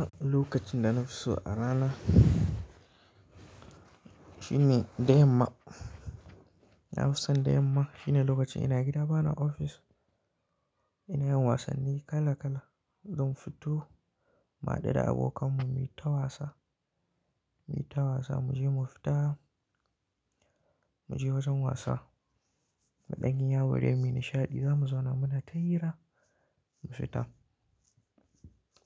A lokacin da na fi so a rana shine da yamma. Na fi son da yamma shine lokacin ina gida bana ofis. Ina yin wasanni kala kala zan fito, mu haɗu da abokanmu muyi ta wasa, muyi ta wasa muje mu fita muje wajen wasa. Muɗan yi yaw dai muyi nishaɗi zamu zauna muna tahira mu fita.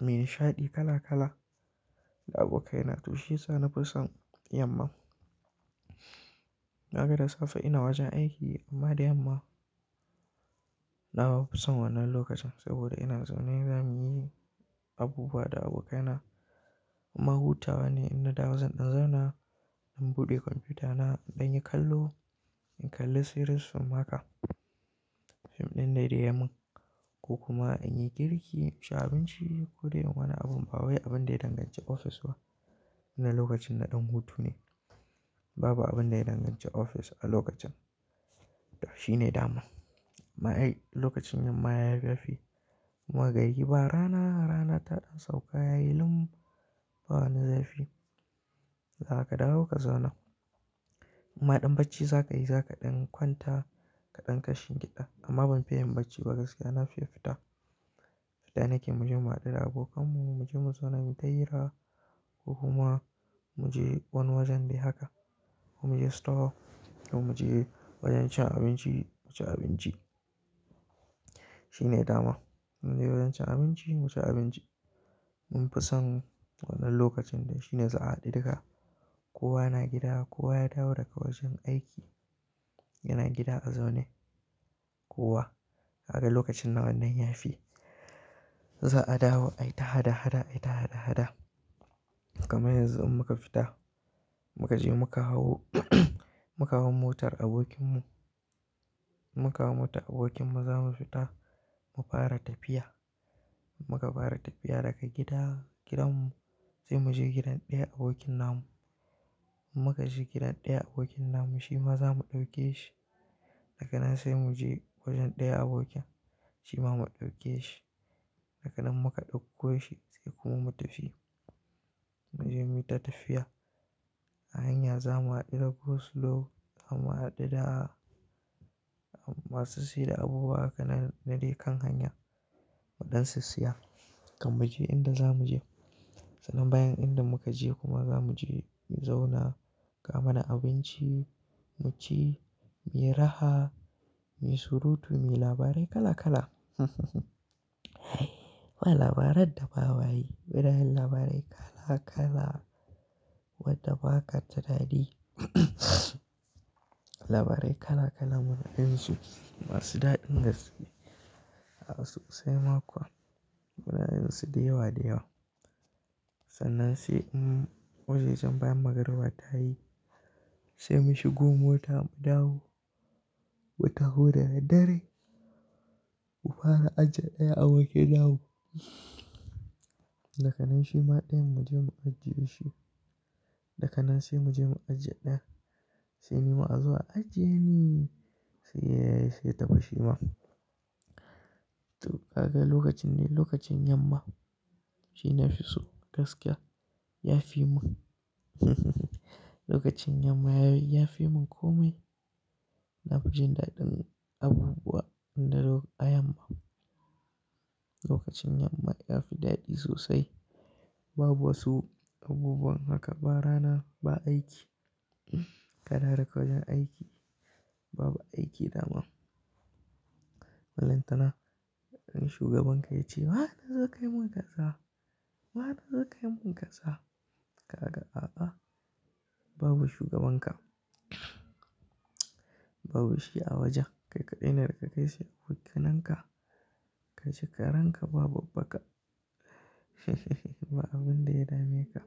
Muyi nishaɗi kala kala da abokai na to shiyasa na fi son yamma. Kaga da safe ina wajen aiki amma da yamma nawa fi son wannan lokacin saboda ina zaune zamuyi abubuwa da abokai na. Imma huta wane in na dawo zan ɗan zauna in buɗe kwamfuta na in yi kallo, in kalli series fim haka. Fim ɗin dai da yayi min ko kuma in yi girki, ci abinci ko dai wani abun ba wai abin da ya danganci ofis ba. Ina lokacin na ɗan hutu ne. Babu abin da ya danganci ofis a lokacin. To shine dama. Ma ai lokacin yamma ya yi ya fi. Ma gari ba rana rana ta ɗan sauka yayi lum ba wani zafi. Za ka dawo ka zauna. Imma ɗan bacci za ka yi za ka ɗan kwanta ka ɗan kashin giɗa amma ban fiye yin bacci ba gaskiya na fiye fita. Fita nake muje mu haɗu da abokanmu muje mu zauna mu tahira ko kuma muje wani wajen dai haka ko muje store ko muje wajen cin abinci mu ci abinci. Shine dama muje wajen cin abinci mu ci abinci. Mun fi son wannan lokacin dai shine za'a haɗu duka kowa na gida kowa ya dawo daga wajen aiki yana gida a zaune kowa. Kaga lokacin nan wannan ya fi. Za a dawo ai ta hada hada ai ta hada hada. Kaman yanzu in muka fita muka je muka hau muka hau motar abokin mu. Muka hau motar abokin mu za mu fita mu fara tafiya. Muka fara tafiya daga gida gidan mu sai muje gidan ɗaya abokin namu. In muka je gidan ɗaya abokin namu shi ma za mu ɗauke shi. Daka nan sai muje wajen ɗaya abokin shi ma mu ɗauke shi. Dak'ga nan muka ɗauko shi sai kuma mu tafi. Muje muyi ta tafiya a hanya za mu haɗu da go slow za mu haɗu da masu saida abubuwa haka nan na dai kan hanyar muɗan sissiya. Kam muje inda za mu je. Sannan bayan inda muka je kuma za mu je mu zauna akawo mana abinci mu ci, mu yi raha, mu yi surutu, mu yi labarai kala kala. Ba labaran da ba ma yi? Muna yin labarai kala kala? Wanda ba ka tunani? Labarai kala kala muna yin su masu daɗin gaske. A sosai ma kuwa muna yin su da yawa da yawa. Sannan sai in wajajen bayan magriba ta yi sai mu shigo mota mu dawo. Mu taho daddare mu fara aji ɗaya abokin namu. Daga nan shi ma ɗayan mu je mu ajiye shi. Daka nan sai muje mu ajiye ɗayan. Sai ni ma a zo a ajiye ni. Sai yayi sai ya tafi shima. To ka ga lokacin ne lokacin yamma shi na fi so gaskiya ya fi mun. Lokacin yamma ya yi ya fi mun komai. Na fi jin daɗin abubuwa indalo a yamma. Lokacin yamma ya fi daɗi sosai. Babu wasu abubuwan haka ba rana ba aiki. Kadawo daga wajen aiki babu aiki dama. Ballantana wani shugaban ka ya ce baza kazo ka yi mun kaza ba baza kazo ka yi mun kaza. Ka ga a'a babu shugaban ka. Babu shi a wajen kai kaɗai ne da ka kai sai abokanan ka. Ka ci karen ka ba babbaka. Ba abin da ya dame ka.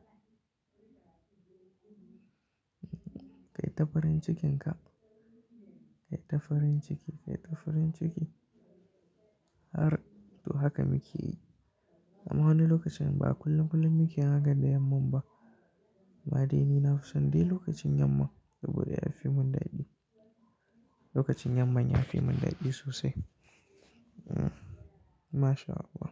Kai ta farin cikin ka. Kai ta farin ciki kai ta farin ciki. Har to haka muke yi. Amma wannan lokacin ba kullum kullum muke yin hakan da yamman ba. Ma dai ni na fi son dai lokacin yamma saboda ya fi mun daɗi. Lokacin yamma ya fi mun daɗi sosai. Hmm. MashAllah.